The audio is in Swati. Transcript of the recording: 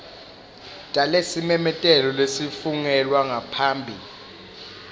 talesimemetelo lesafungelwa ngaphambi